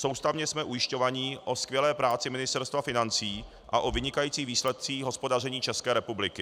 Soustavně jsme ujišťováni o skvělé práci Ministerstva financí a o vynikajících výsledcích hospodaření České republiky.